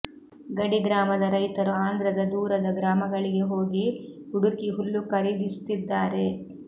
ಗಡಿ ಗ್ರಾಮದ ರೈತರು ಆಂಧ್ರದ ದೂರದ ಗ್ರಾಮಗಳಿಗೆ ಹೋಗಿ ಹುಡುಕಿ ಹುಲ್ಲು ಖರೀದಿಸುತ್ತಿದ್ದಾರೆ